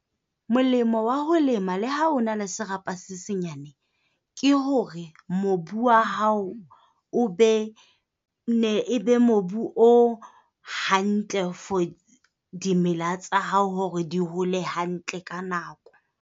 Molemo wa ho lema le ha o na le serapa se senyane ke hore mobu wa hao o be e be mobu o hantle, for di mela tsa hao hore di hole hantle ka nako.